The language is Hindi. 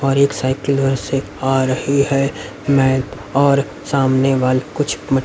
और एक साइकल वह से आ रहीं हैं मैं और सामने वाले कुछ--